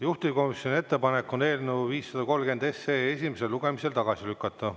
Juhtivkomisjoni ettepanek on eelnõu 530 esimesel lugemisel tagasi lükata.